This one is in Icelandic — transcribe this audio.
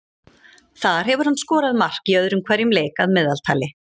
Þar hefur hann skorað mark í öðrum hverjum leik að meðaltali.